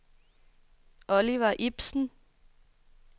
Oliver Ibsen